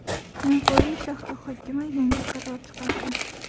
Navoiy shahri hokimi yangi qaror chiqardi.